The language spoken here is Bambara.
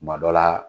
Kuma dɔ la